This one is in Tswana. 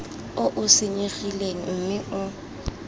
o o senyegileng mme o